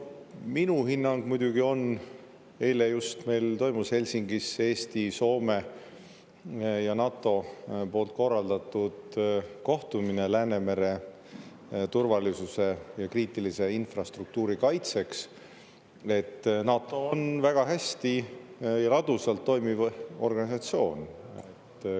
Minu hinnang muidugi on – eile just meil toimus Helsingis Eesti, Soome ja NATO poolt korraldatud kohtumine Läänemere turvalisuse ja kriitilise infrastruktuuri kaitseks –, et NATO on väga hästi ja ladusalt toimiv organisatsioon.